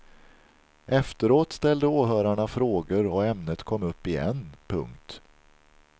Efteråt ställde åhörarna frågor och ämnet kom upp igen. punkt